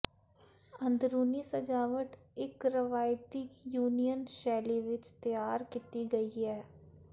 ਅੰਦਰੂਨੀ ਸਜਾਵਟ ਇੱਕ ਰਵਾਇਤੀ ਯੂਨਾਨੀ ਸ਼ੈਲੀ ਵਿੱਚ ਤਿਆਰ ਕੀਤਾ ਗਿਆ ਹੈ